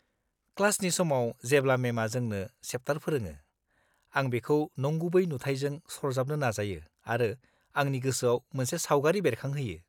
-क्लासनि समाव जेब्ला मेमआ जोंनो चैप्टार फोरोङो, आं बेखौ नंगुबै नुथाइजों सरजाबनो नाजायो आरो आंनि गोसोआव मोनसे सावगारि बेरखांहोयो।